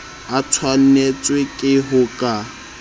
a tshwanetswe ke ho ka